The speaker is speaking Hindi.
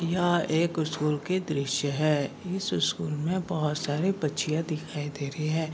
यह एक स्कूल के दृश्य है इस स्कूल में बहुत सारी बच्चियाँ दिखाई दे रही हैं।